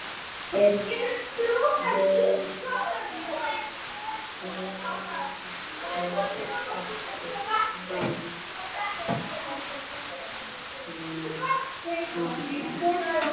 Virðist ekki vanþörf á því.